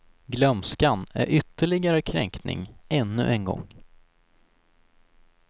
Glömskan är ytterligare kränkning, ännu en gång.